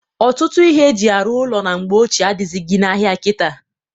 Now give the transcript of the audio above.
Ọtụtụ ihe e ji arụ ụnọ mgbe ochie adịghịzị n'ahịa kita.